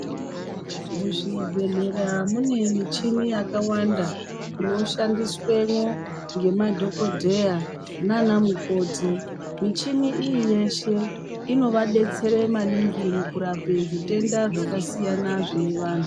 Muzvibhedhlere munemuchini yakawanda, inoshandiswemo ngemadhokodheya nanamukoti. Michinini iyiyeshe, inovadetsere maningi mukurape zvitenda zvakasiyana zvinevanhu.